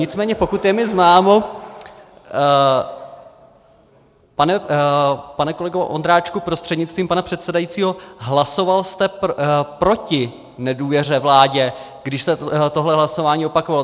Nicméně pokud je mi známo, pane kolego Ondráčku prostřednictvím pana předsedajícího, hlasoval jste proti nedůvěře vládě, když se tohle hlasování opakovalo.